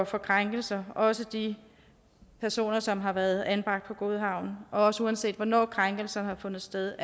for krænkelser er også de personer som har været anbragt på godhavn og uanset hvornår krænkelserne har fundet sted